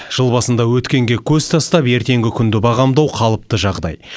жыл басында өткенге көз тастап ертеңгі күнді бағамдау қалыпты жағдай